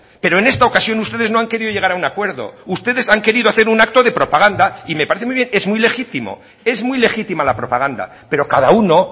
pero en esta ocasión ustedes no han querido llegar a un acuerdo ustedes han querido hacer un acto de propaganda y me parece muy bien es muy legítimo es muy legítima la propaganda pero cada uno